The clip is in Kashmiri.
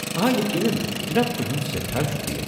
آ، یقینن ، جناب، تُہُنٛد سٮ۪ٹھاہ شُکرِیہ۔